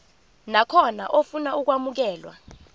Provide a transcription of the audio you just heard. nakhona ofuna ukwamukelwa